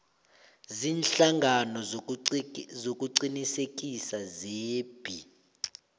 ziinhlangano zokuqinisekisa zebee